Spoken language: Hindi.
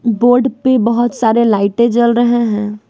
बोर्ड पे बहोत सारे लाइटे जल रहे हैं।